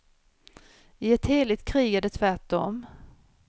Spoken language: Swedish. I ett heligt krig är det tvärtom.